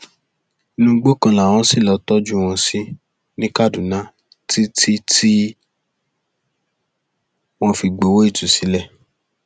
inú igbó kan làwọn ṣì lọọ tọjú wọn sí ní kaduna títí tí wọn fi gbowó ìtúsílẹ